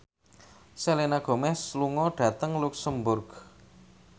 Selena Gomez lunga dhateng luxemburg